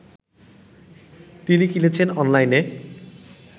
তিনি কিনেছেন অনলাইনে